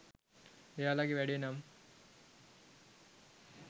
එයාලාගේ වැඩේ නම්